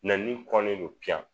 Nɛni kɔnnen don piyan